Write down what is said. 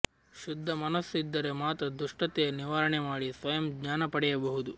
ಶುದ್ಧ ಮನಸ್ಸು ಇದ್ದರೆ ಮಾತ್ರ ದುಷ್ಟತೆಯ ನಿವಾರಣೆ ಮಾಡಿ ಸ್ವಯಂ ಜ್ಞಾನ ಪಡೆಯಬಹುದು